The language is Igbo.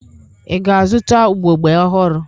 Ị ga-azụta ugbogbe ọhụrụ?